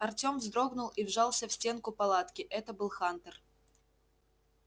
артём вздрогнул и вжался в стенку палатки это был хантер